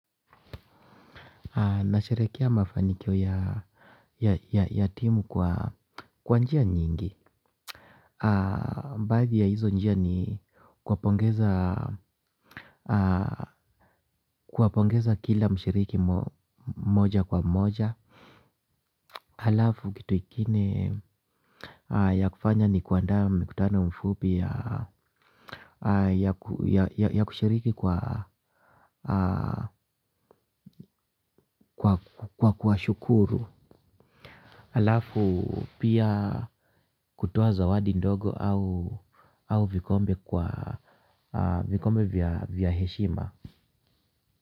Nasherekea mafanikio ya timu kwa njia nyingi baadhi ya hizo njia ni kuwapongeza kila mshiriki moja kwa moja. Halafu kitu ingine ya kufanya ni kuandaa mkutano mfupi ya kushiriki kwa kuwashukuru. Alafu pia kutoa zawadi ndogo au vikombe kwa vikombe vya heshima.